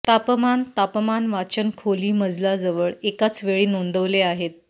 तापमान तापमान वाचन खोली मजला जवळ एकाच वेळी नोंदवले आहेत